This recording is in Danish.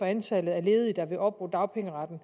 antallet af ledige der vil opbruge dagpengeretten